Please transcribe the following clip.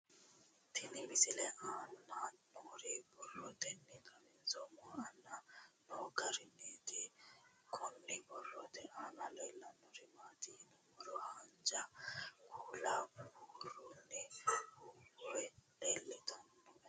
Tenne misile aana noore borroteni xawiseemohu aane noo gariniiti. Kunni borrote aana leelanori maati yiniro haanja kuula buuronni hoowe leeltanoe.